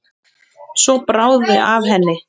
Svo bráði af henni.